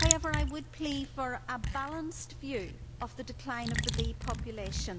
However, I would plea for a balanced view of the decline of the bee population